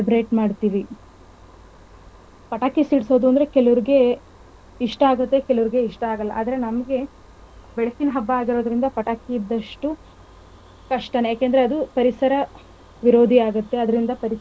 ಮಾಡ್ತೀವಿ ಪಟಾಕಿ ಸಿಡಸೋದು ಅಂದ್ರೆ ಕೆಲವರಗೆ ಇಷ್ಟ ಆಗುತ್ತೆ ಕೆಲವರಗೆ ಇಷ್ಟ ಆಗಲ್ಲ. ಆದ್ರೆ ನಮ್ಗೆ ಬೆಳಕಿನ ಹಬ್ಬ ಆಗಿರೋದರಿಂದ ಪಟಾಕಿ ಇದ್ದಷ್ಟು ಕಷ್ಟನೆ ಯಾಕಂದ್ರೆ ಅದು ಪರಿಸರ ವಿರೋಧಿ ಆಗುತ್ತೆ ಅದರಿಂದ ಪರಿಸರ ಮಾಲಿನ್ಯ ಆಗುತ್ತೆ.